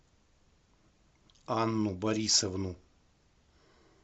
анну борисовну